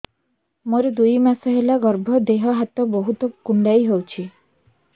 ମୋର ଦୁଇ ମାସ ହେଲା ଗର୍ଭ ଦେହ ହାତ ବହୁତ କୁଣ୍ଡାଇ ହଉଚି